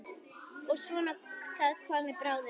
Ég vona það komi bráðum.